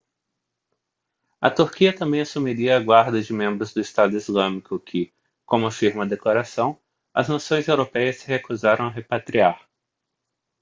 a turquia também assumiria a guarda de membros do estado islâmico que como afirma a declaração as nações europeias se recusaram a repatriar